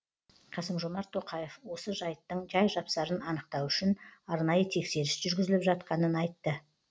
қасым жомарт тоқаев осы жайттың жай жапсарын анықтау үшін арнайы тексеріс жүргізіліп жатқанын айтты